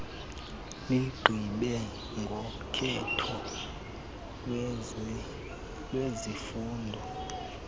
ligqibe ngokhetho lwezifundo